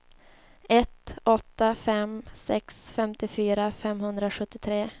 ett åtta fem sex femtiofyra femhundrasjuttiotre